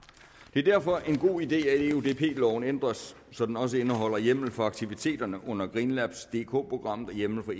det er derfor en god idé at eudp loven ændres så den også indeholder hjemmel for aktiviteterne under green labs dk programmet og hjemmel for